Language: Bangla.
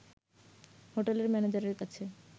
হোটেলের ম্যানেজারের কাছে